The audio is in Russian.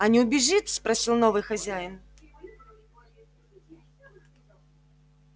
а не убежит спросил новый хозяин